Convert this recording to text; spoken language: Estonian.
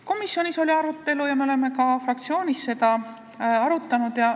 Komisjonis oli arutelu ja me oleme ka fraktsioonis seda arutanud.